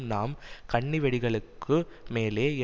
நாம் கண்ணிவெடிகளுக்கு மேலே